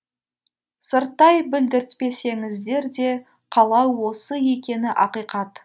сырттай білдіртпесеңіздер де қалау осы екені ақиқат